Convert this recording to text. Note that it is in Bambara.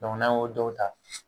Dɔnku n'an y'o dɔw ta